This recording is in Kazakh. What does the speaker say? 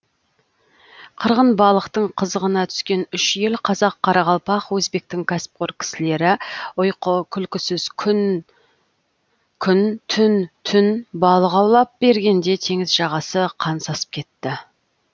қырғын балықтың қызығына түскен үш ел қазақ қарақалпақ өзбектің кәсіпқор кісілері ұйқы күлкісіз күн түн түн түн балық аулап бергенде теңіз жағасы қан сасып кетті